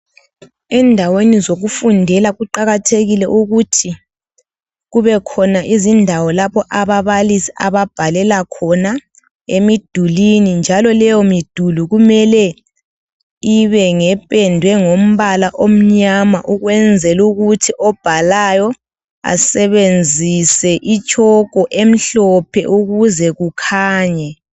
Endaweni zokufundela kuqakathekile ukuthi kubekhona izindawo lapho ababalisi ababhalela khona emidulini njalo leyo miduli kumele ibe ngependwe ngombala omnyama ukwenzela ukuthi obhalayo asebenzise itshoko emhlophe ukuze kukhanye